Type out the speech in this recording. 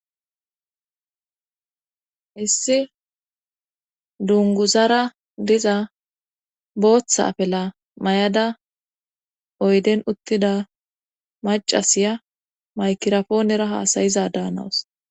Issi dunguzara diza booththa apela may7ada oyden uttida macasiya maykirapoonera haasayiza daanawus